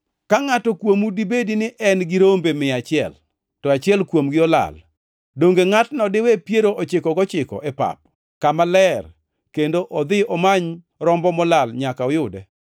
“Ka ngʼato kuomu dibedi ni en gi rombe mia achiel, to achiel kuomgi olal, donge ngʼatno diwe piero ochiko gochikogo e pap kama ler kendo odhi omany rombo molal nyaka oyude?